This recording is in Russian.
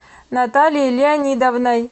натальей леонидовной